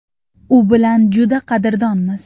U bilan juda qadrdonmiz.